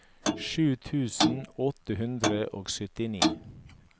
sju tusen åtte hundre og syttini